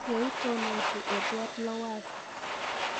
Yeitonosii Edward Lowassa.